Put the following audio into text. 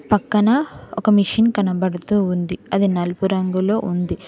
పక్కన ఒక మెషిన్ కనబడుతూ ఉంది అది నలుపు రంగులో ఉంది.